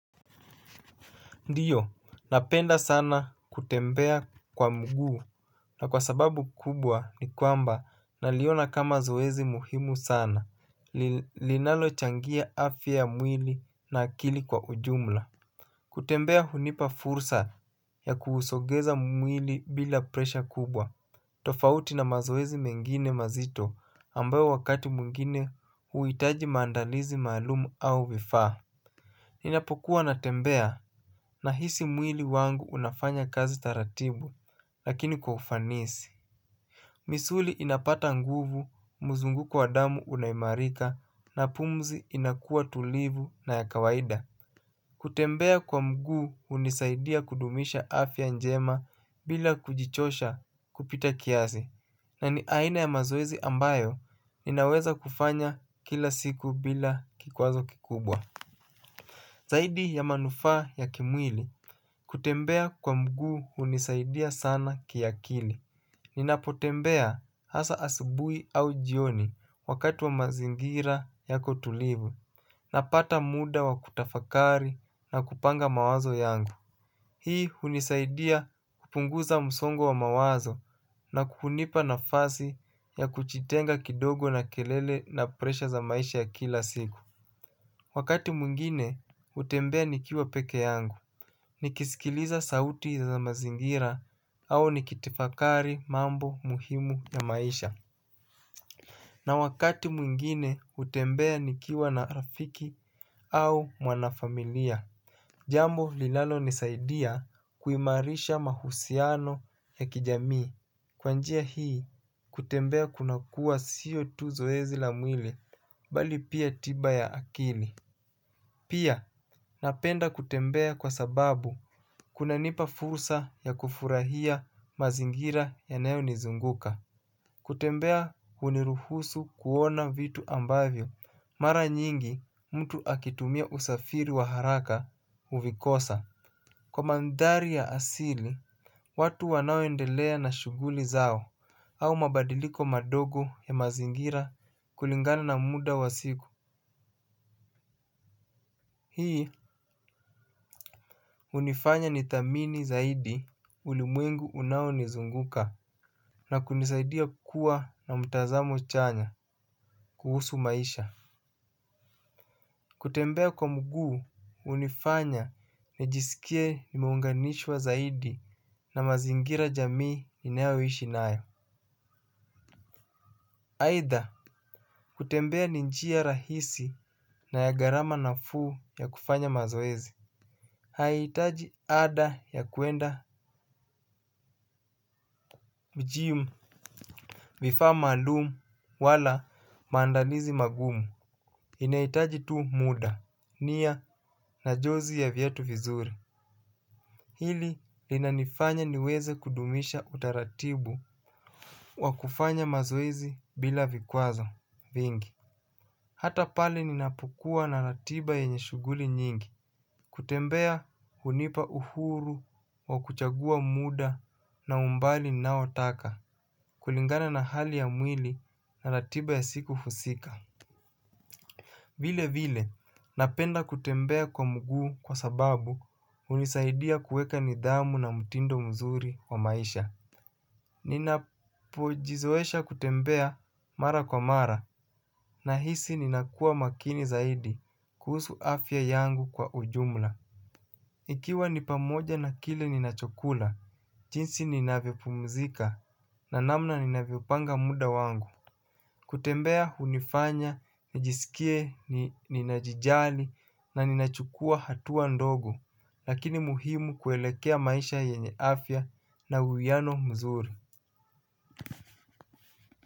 Ndio, napenda sana kutembea kwa mguu na kwa sababu kubwa ni kwamba naliona kama zoezi muhimu sana, linalochangia afya ya mwili na akili kwa ujumla. Kutembea hunipa fursa ya kuhusogeza mwili bila presha kubwa, tofauti na mazoezi mengine mazito ambayo wakati mwngine huhitaji maandalizi maalum au vifaa. Ninapokuwa natembea nahisi mwili wangu unafanya kazi taratibu lakini kwa ufanisi. Misuli inapata nguvu, muzunguko wa damu unaimarika na pumzi inakua tulivu na ya kawaida. Kutembea kwa mguu hunisaidia kudumisha afya njema bila kujichosha kupita kiazi. Na ni aina ya mazoezi ambayo ninaweza kufanya kila siku bila kikwazo kikubwa. Zaidi ya manufaa ya kimwili kutembea kwa mguu hunisaidia sana kiakili. Ninapotembea hasa asibuhi au jioni wakati wa mazingira yako tulivu. Napata muda wa kutafakari na kupanga mawazo yangu. Hii hunisaidia kupunguza msongo wa mawazo na kunipa nafazi ya kuchitenga kidogo na kelele na presha za maisha ya kila siku. Wakati mwngine natembea nikiwa pekee yangu nikisikiliza sauti za mazingira au nikitifakari mambo muhimu ya maisha. Na wakati mwingine hutembea nikiwa na rafiki au mwanafamilia. Jambo linalo nisaidia kuimarisha mahusiano ya kijamii. Kwa njia hii kutembea kunakua siyo tu zoezi la mwili bali pia tiba ya akili. Pia, napenda kutembea kwa sababu kuna nipa fursa ya kufurahia mazingira yanayo nizunguka. Kutembea huniruhusu kuona vitu ambavyo, mara nyingi mtu akitumia usafiri wa haraka uvikosa. Kwa mandhari ya asili, watu wanaoendelea na shuguli zao au mabadiliko madogo ya mazingira kulingana na muda wa siku. Hii hunifanya ni tathamini zaidi ulimwengu unao nizunguka. Na kunisaidia kukuwa na mtazamo chanya kuhusu maisha. Kutembea kwa mguu hunifanya nijisikie nimeunganishwa zaidi na mazingira jamii inayoishi nayo aidha kutembea ni njia rahisi na ya gharama nafuu ya kufanya mazoezi haihitaji ada ya kuenda mjiumu. Vifaa maalumu wala maandalizi magumu inahitaji tu muda, nia na jozi ya viatu vizuri. Hili linanifanya niweze kudumisha utaratibu wakufanya mazoezi bila vikwazo vingi. Hata pale ninapukuwa na ratiba yenye shughuli nyingi. Kutembea hunipa uhuru wa kuchagua muda na umbali ninao taka kulingana na hali ya mwili na ratiba ya siku husika. Vile vile napenda kutembea kwa mguu kwa sababu hunisaidia kuweka nidhamu na mtindo mzuri wa maisha. Ninapojizoesha kutembea mara kwa mara nahisi ninakuwa makini zaidi kuhusu afya yangu kwa ujumla ikiwa ni pamoja na kile ninachokula, jinsi ninavyo pumzika na namna ninavyo panga muda wangu. Kutembea hunifanya, najisikie ninajijali na ninachukua hatua ndogo, lakini muhimu kuelekea maisha yenye afya na huiano mzuri.